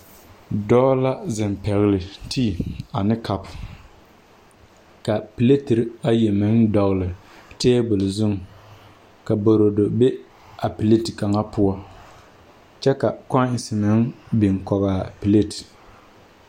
Dɔɔ la zeŋ pɛgle tea ane cup ka pleteri ayi meŋ dɔgle table zuŋ ka borodo be a pleti kaŋa poɔ kyɛ ka coins meŋ biŋ kɔgaa plate.